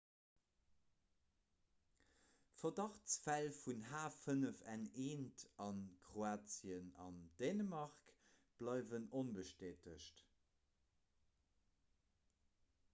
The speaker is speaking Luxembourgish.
verdachtsfäll vun h5n1 a kroatien an dänemark bleiwen onbestätegt